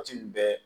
Waati nin bɛɛ